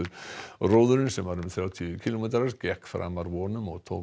róðurinn sem var um þrjátíu kílómetrar gekk framar vonum og tók